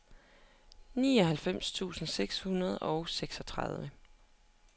nioghalvfems tusind seks hundrede og seksogtredive